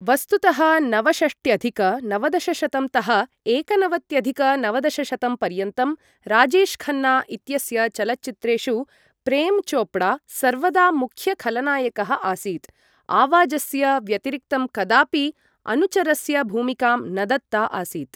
वस्तुतः नवषष्ट्यधिक नवदशशतं तः एकनवत्यधिक नवदशशतं पर्यन्तं राजेशखन्ना इत्यस्य चलच्चित्रेषु प्रेम चोपड़ा सर्वदा मुख्यखलनायकः आसीत्, आवाजस्य व्यतिरिक्तं कदापि अनुचरस्य भूमिकां न दत्ता आसीत् ।